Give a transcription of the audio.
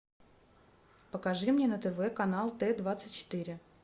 покажи мне на тв канал т двадцать четыре